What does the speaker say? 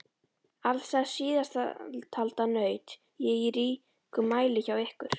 Alls þess síðasttalda naut ég í ríkum mæli hjá ykkur.